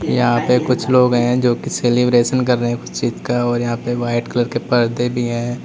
यहां पे कुछ लोग हैं जो की सेलिब्रेशन कर रहे हैं कुछ चीज का और यहां पे वाइट कलर के पर्दे भी है।